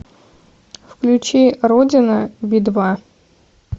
включи родина би два